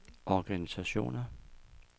organisationer